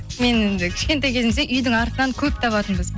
мен енді кішкентай кезімізде үйдің артынан көп табатынбыз